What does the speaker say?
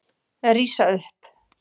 Rísa upp.